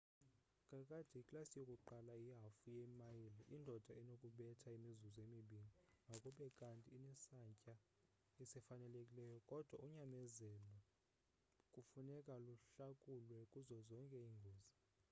kakade iklasi yokuqala ihafu ye mayile indoda enokubetha imizuzu emibini makube kanti inesantya esifanelekileyo kodwa unyamezelo kufuneka luhlakulwe kuzo zonke iingozi